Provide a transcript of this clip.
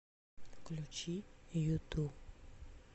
включи юту